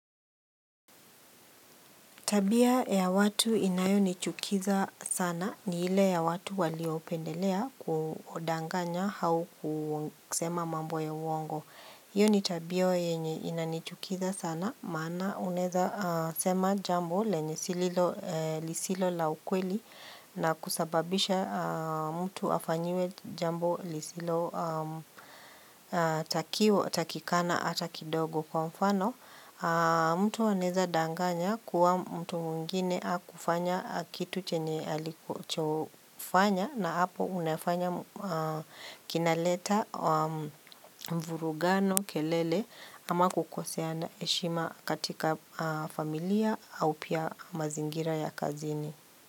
Tabia ya watu inayonichukiza sana ni ile ya watu waliopendelea kudanganya au kusema mambo ya uongo. Hiyo ni tabia yenye inanichukiza sana maana unaweza sema jambo lenye sililo lisilo la ukweli na kusababisha mtu afanyiwe jambo lisilo takikana hata kidogo. Kwa mfano, mtu anaweza danganya kuwa mtu mwingine hakufanya kitu chenye alichofanya na hapo unafanya kinaleta mvurugano kelele ama kukoseana heshima katika familia au pia mazingira ya kazini.